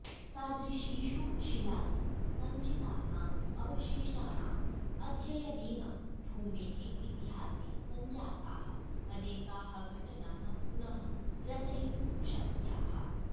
तादृशीषु शिलासु सञ्चितानाम् अवशेषाणाम् अध्ययनेन भूमेः इतिहासे सञ्जाताः अनेकाः घटनाः पुनः रचयितुं शक्याः